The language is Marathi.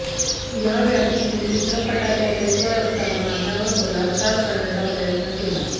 एका व्यक्तीने चित्रपटाच्या सेटवर असताना माझ्यावर बलात्कार करण्याचा प्रयत्न केला